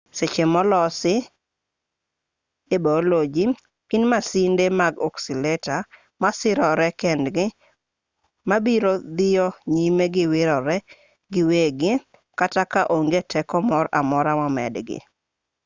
seche molosi e yor baoloji gin masinde mag oscillator masirore kendgi ma biro dhiyo nyime gi wirore giwegi kata ka onge teko moro amora momedgi